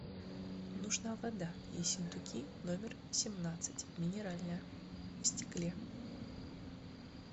нужна вода ессентуки номер семнадцать минеральная в стекле